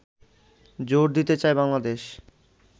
জোর দিতে চায় বাংলাদেশ